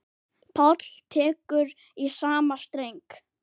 Páll tekur í sama streng.